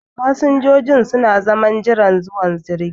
Fasinjojin su na zaman jiran zuwan jirgi.